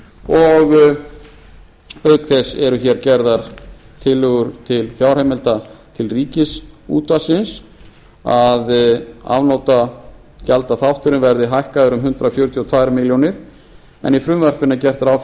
og auk þess eru gerðar tillögur til fjárheimilda til ríkisútvarpsins að afnotagjaldaþátturinn verði hækkaður um hundrað fjörutíu og tvær milljónir króna en í frumvarpinu er gert ráð